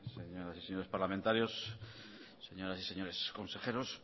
señoras y señores parlamentarios señoras y señores consejeros